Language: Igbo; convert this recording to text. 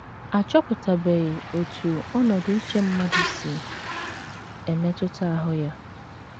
A chọpụtabeghị otú ọnọdụ uche mmadụ si emetụta ahụ́ ya.